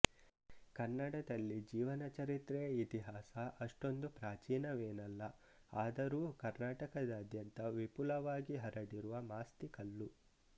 ಕನ್ನಡದಲ್ಲಿ ಜೀವನ ಚರಿತ್ರೆಯ ಇತಿಹಾಸ ಅಷ್ಟೊಂದು ಪ್ರಾಚೀನವೇನಲ್ಲ ಆದರೂ ಕರ್ನಾಟಕದಾದ್ಯಂತ ವಿಪುಲವಾಗಿ ಹರಡಿರುವ ಮಾಸ್ತಿಕಲ್ಲು